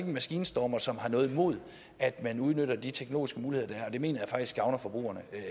en maskinstormer som har noget imod at man udnytter de teknologiske muligheder der er og det mener jeg faktisk gavner forbrugerne